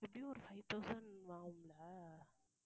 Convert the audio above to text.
எப்படியும் ஒரு five thousand ஆகும்ல?